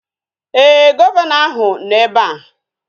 Ee, Gọvanọ ahụ nọ ebe a